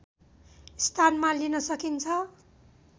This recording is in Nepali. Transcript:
स्थानमा लिन सकिन्छ